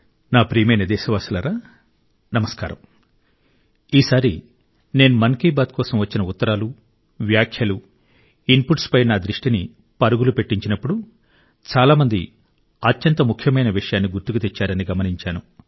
నా ప్రియమైన దేశవాసులారా నమస్కారం ఈసారి నేను మన్ కీ బాత్ కోసం వచ్చిన ఉత్తరాలు వ్యాఖ్యలు ఇన్ పుట్స్ పై నా దృష్టిని పరుగులు పెట్టించినప్పుడు చాలా మంది అత్యంత ముఖ్యమైన విషయాన్ని గుర్తుకు తెచ్చారని గమనించాను